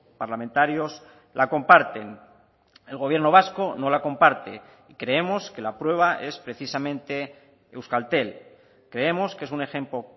parlamentarios la comparten el gobierno vasco no la comparte creemos que la prueba es precisamente euskaltel creemos que es un ejemplo